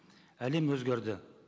әлем өзгерді